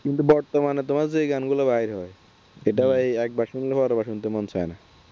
কিন্তু বর্তমানে তোমার যে গানগুলো বাইর হয় এটাও একবার শুনলে বারবার শুনতে মন চায় না।